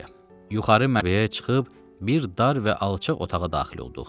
Yuxarı mərtəbəyə çıxıb bir dar və alçaq otağa daxil olduq.